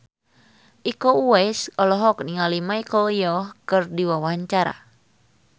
Iko Uwais olohok ningali Michelle Yeoh keur diwawancara